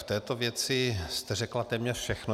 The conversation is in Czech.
V této věci jste řekla téměř všechno.